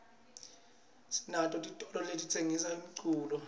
sinato titolo letitsengisa umculo